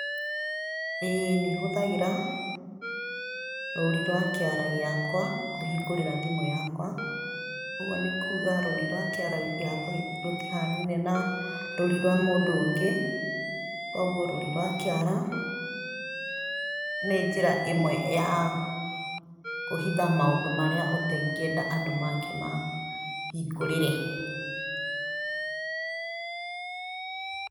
Ĩ nĩ hũthagĩra rũũri rwa kĩara gĩakwa, kũhingũrĩra thĩmũ yakwa, ũguo nĩ kuuga rũri rwa kĩara gĩakwa rũtihaanine na rũũri rwa mũndũ ũngĩ, koguo rũri rwa kĩara ,nĩ njira ĩmwe ya kũhitha maũndũ marĩa ũtengĩenda andũ mangĩ mahingũrĩre.